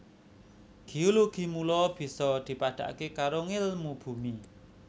Géologi mula bisa dipadhakaké karo ngèlmu bumi